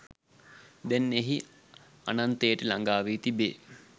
දැන් එහි අනන්තයට ළගා වී තිබේ